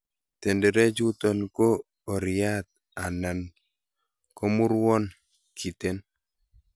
Tenderechuton ko oriat alan komurwon kiten.